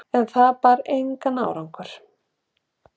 En það bar engan árangur.